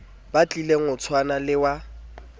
batlileng o tshwana le wa